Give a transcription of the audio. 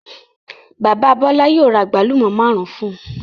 Bàbá Bọ́lá yóò ra àgbálù ọ́ márùn-ún fún un.